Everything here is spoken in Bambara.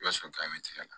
I b'a sɔrɔ tigɛra